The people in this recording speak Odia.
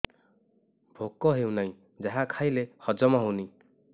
ଭୋକ ହେଉନାହିଁ ଯାହା ଖାଇଲେ ହଜମ ହଉନି